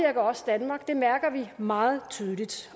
også danmark det mærker vi meget tydeligt